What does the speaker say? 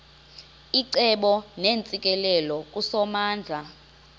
icebo neentsikelelo kusomandla